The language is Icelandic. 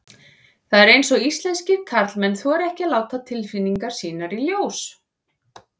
Það er eins og íslenskir karlmenn þori ekki að láta tilfinningar sínar í ljós.